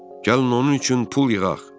Gəlin onun üçün pul yığaq.